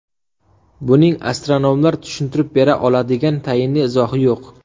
Buning astronomlar tushuntirib bera oladigan tayinli izohi yo‘q.